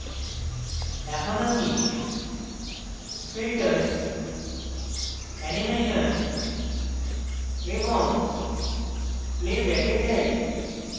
এখন আমি filters animation এবং playback এ যাই